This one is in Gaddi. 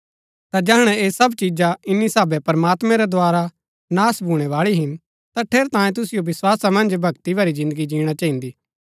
ता जैहणै ऐह सब चीजा ईन्नी साहबै प्रमात्मैं रै द्धारा नाश भूणैबाळी हिन ता ठेरैतांये तुसिओ विस्‍वासा मन्ज भक्ति भरी जिन्दगी जीणा चहिन्दी